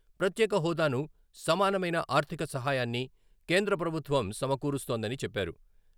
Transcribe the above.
ప్రత్యేక హోదాను సమానమైన ఆర్థిక సహాయాన్ని కేంద్ర ప్రభుత్వం సమకూరుస్తోందని చెప్పారు.